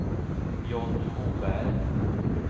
Johnny Moberg